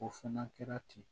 O fana kɛra ten